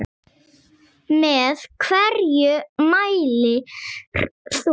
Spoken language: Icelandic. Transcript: Með hverju mælir þú?